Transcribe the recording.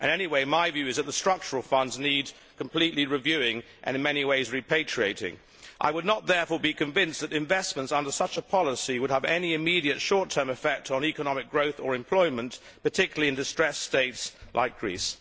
Anyway, my view is that the structural funds need a complete review and, in many ways, repatriating. I would not, therefore, be convinced that investments under such a policy would have any immediate short term effect on economic growth or employment, particularly in distressed states like Greece.